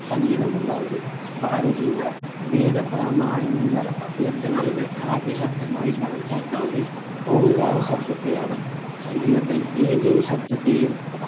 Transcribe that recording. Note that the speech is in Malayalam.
സംഗീതം ഉണ്ടാകുന്നു ഭാരതീയ വേദപ്രമാണിക ഗ്രന്ഥങ്ങളിലെ ആദ്യ ശബ്ദമായി കണക്കാക്കുന്നത് ഓംകാര ശബ്ദത്തെയാണ് സംഗീതത്തിൽ ഏതൊരു ശബ്ദത്തെയും